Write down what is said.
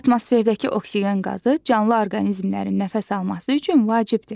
Atmosferdəki oksigen qazı canlı orqanizmlərin nəfəs alması üçün vacibdir.